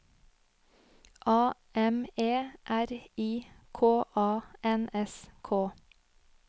A M E R I K A N S K